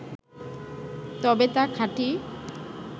তবে তা খাঁটি